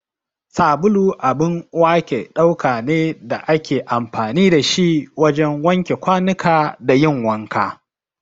Sabulu abun wake ɗauka ne da ake amfani da shi wajen wanke kwanuka da yin wanka.